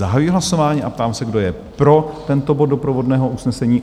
Zahajuji hlasování a ptám se, kdo je pro tento bod doprovodného usnesení?